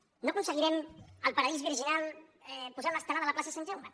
no aconseguirem el paradís virginal posant l’estelada a la plaça sant jaume